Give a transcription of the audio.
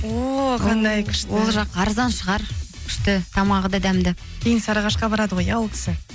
о қандай күшті ол жақ арзан шығар күшті тамағы да дәмді енді сарыағашқа барады ғой иә ол кісі